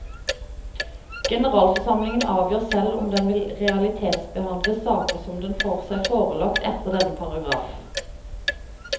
Generalforsamlingen avgjør selv om den vil realitetsbehandle saker som den får seg forelagt etter denne paragraf.